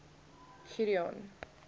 gideon